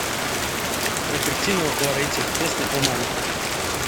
робертино лоретти песня о маме